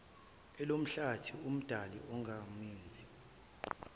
elomhlathi umdali ongumenzi